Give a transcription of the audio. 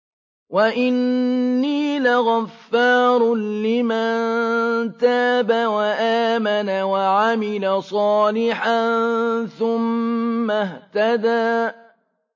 وَإِنِّي لَغَفَّارٌ لِّمَن تَابَ وَآمَنَ وَعَمِلَ صَالِحًا ثُمَّ اهْتَدَىٰ